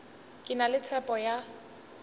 ke na le tshepo ya